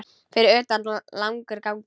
Fyrir utan langur gangur.